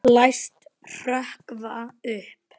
Læst hrökkva upp.